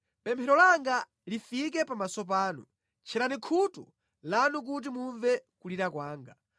Pemphero langa lifike pamaso panu; tcherani khutu lanu kuti mumve kulira kwanga.